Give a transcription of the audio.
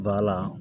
Ba la